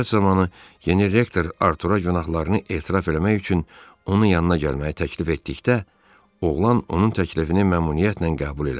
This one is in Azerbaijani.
Söhbət zamanı yeni rektor Artura günahlarını etiraf eləmək üçün onun yanına gəlməyi təklif etdikdə oğlan onun təklifini məmnuniyyətlə qəbul elədi.